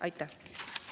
Aitäh!